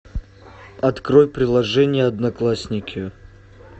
открой приложение одноклассники